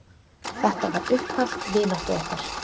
Þetta var upphaf vináttu okkar.